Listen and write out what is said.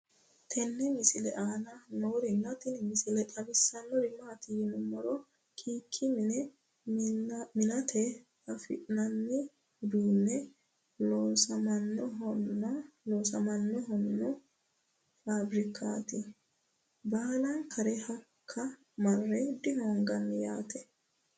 tenne misile aana noorina tini misile xawissannori maati yinummoro kk mine mi'natte afi'nanni uduunni loosammanno fabirikkaatti baallankare hakko marre dihoonganni yaatte